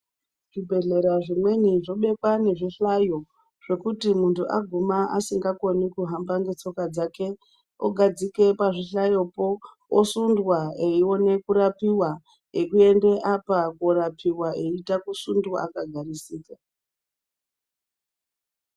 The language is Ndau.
Zvibhedhlera zvimweni zvobekwa ngezvihlayo. Zvekuti muntu aguma asingakoni kuhamba ngetsoka dzake, ogadzike pazvihlayopo osundwa eione kurapiva ekuende apa korapiva eiita kusundwa akagarisika.